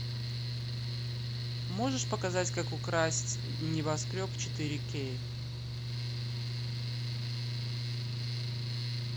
можешь показать как украсть небоскреб четыре кей